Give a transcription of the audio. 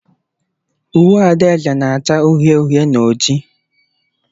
Uwe adaeze na-acha uhie uhie na oji.